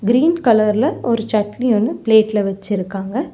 Green colour ல ஒரு சட்னி ஒன்னு பிளேட் ல வெச்சுருக்காங்க.